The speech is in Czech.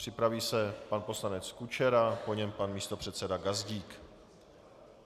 Připraví se pan poslanec Kučera, po něm pan místopředseda Gazdík.